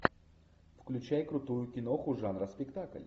включай крутую киноху жанра спектакль